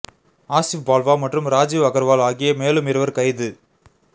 ஆசிப் பால்வா மற்றும் ராஜீவ் அகர்வால் ஆகிய மேலும் இருவர் கைது